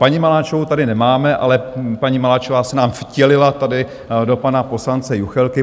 Paní Maláčovou tady nemáme, ale paní Maláčová se nám vtělila tady do pana poslance Juchelky.